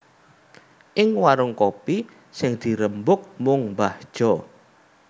Ing warung warung kopi sing dirembug mung mbah Jo